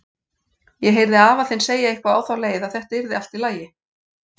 Ég heyrði afa þinn segja eitthvað á þá leið, að þetta yrði allt í lagi.